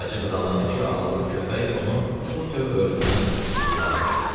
Qaraca qız anladı ki, ağıllı köpək onu bu tövr ölümdən qurtarmışdı.